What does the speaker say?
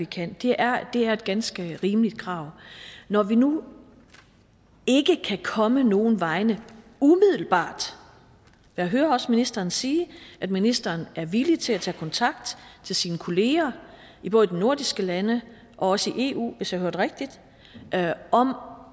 kan det er er et ganske rimeligt krav når vi nu ikke kan komme nogen vegne umiddelbart jeg hører også ministeren sige at ministeren er villig til at tage kontakt til sine kollegaer i både de nordiske lande og også i eu hvis jeg hørte rigtigt om